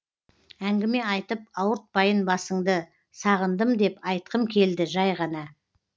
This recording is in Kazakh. әңгіме айтып ауыртпайын басыңды сағындым деп айтқым келді жай ғана